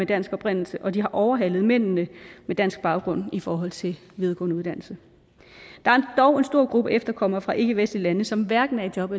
dansk oprindelse og de har overhalet mændene med dansk baggrund i forhold til videregående uddannelse der er dog en stor gruppe efterkommere fra ikkevestlige lande som hverken er i job